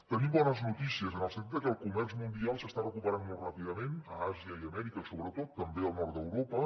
tenim bones notícies en el sentit que el comerç mundial s’està recuperant molt ràpidament a àsia i a amèrica sobretot també al nord d’europa